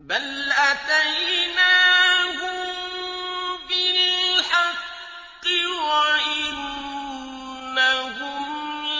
بَلْ أَتَيْنَاهُم بِالْحَقِّ وَإِنَّهُمْ